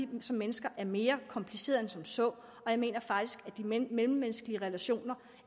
vi som mennesker er mere komplicerede end som så og jeg mener faktisk at de mellemmenneskelige relationer